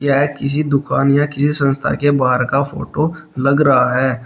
ये किसी दुकान या किसी संस्था के बाहर का फोटो लग रहा है।